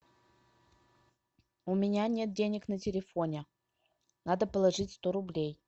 у меня нет денег на телефоне надо положить сто рублей